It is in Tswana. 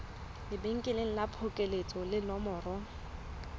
lebenkele la phokoletso le nomoro